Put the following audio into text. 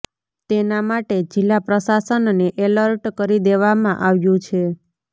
તેના માટે જિલ્લા પ્રશાસનને એલર્ટ કરી દેવામાં આવ્યુ છે